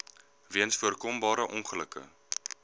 weens voorkombare ongelukke